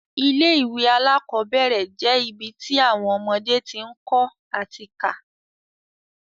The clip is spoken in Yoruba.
Ilé ìwé alákọ́bẹ̀rẹ̀ je ibi ti awọn ọmọdé ti ń kọ́ ati ká